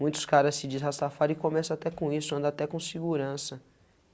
Muitos caras se diz rastafari e começam até com isso, andam até com segurança.